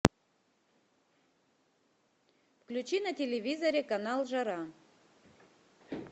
включи на телевизоре канал жара